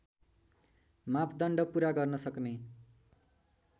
मापदण्ड पुरा गर्नसक्ने